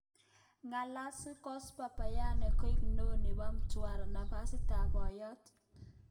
Gelasius Gasper Byakanwa koik neo nepo Mtwara, nafasitab poiyot